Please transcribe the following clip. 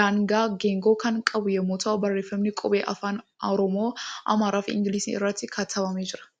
danaa geengoo kan qabu yemmuu ta'u barreeffamni qubee afaan Oromoo, Amaaraa fi Ingiliziin irratti katabamee jira.